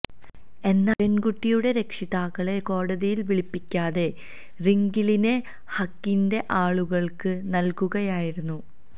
എന്നാല് പെണ്കുട്ടിയുടെ രക്ഷിതാക്കളെ കോടതിയില് വിളിപ്പിക്കാതെ റിംഗിളിനെ ഹഖിന്റെ ആളുകള്ക്ക് നല്കുകയായിരുന്നു